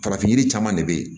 Farafin yiri caman de be yen